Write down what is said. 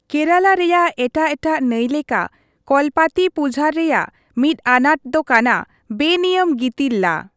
ᱠᱮᱨᱟᱞᱟ ᱨᱮᱭᱟᱜ ᱮᱴᱟᱜ ᱮᱴᱟᱜ ᱱᱟᱹᱭ ᱞᱮᱠᱟ ᱠᱚᱞᱯᱟᱛᱷᱤᱯᱩᱡᱷᱟᱨ ᱨᱮᱭᱟᱜ ᱢᱤᱫ ᱟᱱᱟᱴ ᱫᱚ ᱠᱟᱱᱟ ᱵᱮᱱᱤᱭᱟᱹᱢ ᱜᱤᱛᱤᱞ ᱞᱟ ᱾